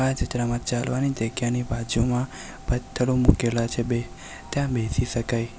આ ચિત્રમાં ચાલવાની જગ્યાની બાજુમાં પથ્થરો મુકેલા છે બે ત્યાં બેસી શકાય.